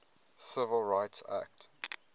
civil rights act